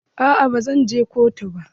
Aa ba zan je kotu ba.